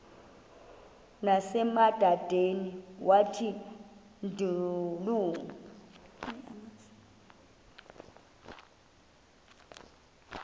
nasemadodeni wathi ndilu